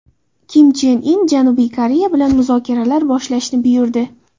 Kim Chen In Janubiy Koreya bilan muzokaralar boshlashni buyurdi.